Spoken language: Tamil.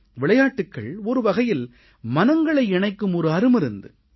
விளையாட்டுகள் ஒரு வகையில் மனங்களை இணைக்கும் ஒரு அருமருந்து